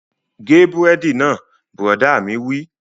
Gé búrẹ́dì náà! Bùrọ̀dá mi wí